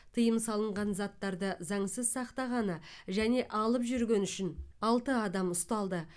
тыйым салынған заттарды заңсыз сақтағаны және алып жүргені үшін алты адам ұсталды